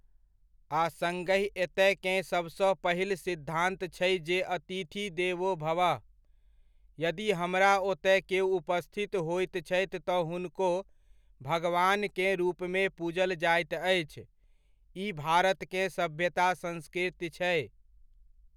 आ सङ्गहि एतयकेँ सभसँ पहिल सिद्धान्त छै जे अतिथि देवो भवः। यदि हमरा ओतय केओ उपस्थित होइत छथि तऽ हुनको भगवानकेँ रूपमे पूजल जाइत अछि, ई भारतकेँ सभ्यता संस्कृति छै।